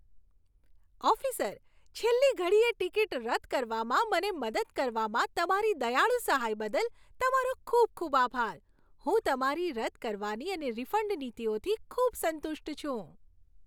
Officer, છેલ્લી ઘડીએ ticket રદ કરવામાં મને મદદ કરવામાં તમારી દયાળુ સહાય બદલ, તમારો ખૂબ ખૂબ આભાર. હું તમારી રદ કરવાની અને રિફંડ નીતિઓથી ખૂબ સંતુષ્ટ છું.